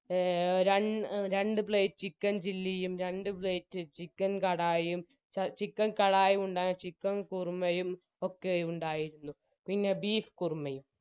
A റൺ രണ്ട് plate chicken chilly യും രണ്ട് plate chicken കാടായിയും chicken കാടായിയും ഉണ്ടായി chicken കുറുമയും ഒക്കെ ഉണ്ടായിരുന്നു പിന്നെ beef കുറുമയും